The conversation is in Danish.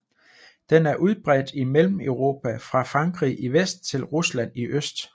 Den er udbredt i Mellemeuropa fra Frankrig i vest til Rusland i øst